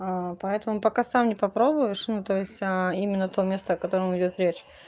а поэтому пока сам не попробуешь ну то есть именно то место о котором идёт речь